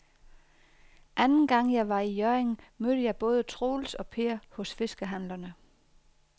Anden gang jeg var i Hjørring, mødte jeg både Troels og Per hos fiskehandlerne.